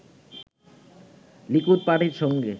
Likud পার্টির সঙ্গে